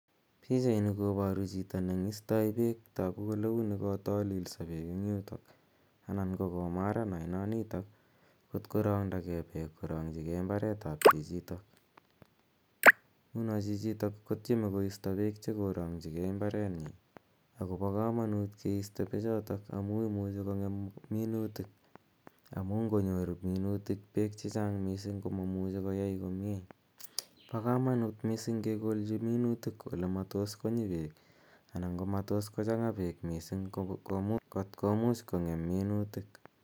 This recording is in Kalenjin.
Pichaini koparu chito neng'istai peek. Tagu kole uni kotolilsa peek eng' yutok anan kokomaran ainanitok kot ko randa gei peek korang'chigei mbaret ap chichitok. Nguno chichitok kotieme koista peek che korang'chigei imbaret nyi ako pa kamanut keista pechotok amj imuchi kong'em minutiik. Amu ngonyor minutiik peek che chang' missing' komamuchi koyai komye.pa kamanjt missing' kekolchi minutiik ole ma tos konyi peek anan ko matos kochang'aa peek missing' kot komuch kong'em minutiik.